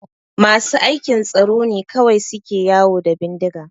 Masu aikin tsaro ne kawai suke yawo da bindiga